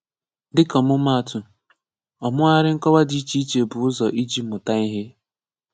Dịka ọmụmaatụ, ọmụghari nkọwa dị iche iche bụ ụzọ iji mụta ihe.